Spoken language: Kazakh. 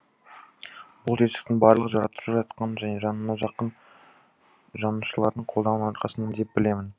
бұл жетістіктің барлығы жаратушы жаратқанның және жаныма жақын жанашырларымның қолдауының арқасында деп білемін